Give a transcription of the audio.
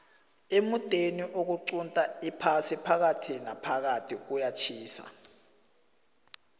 emudeni oqunta iphasi phakathi naphakathi kuyatjhisa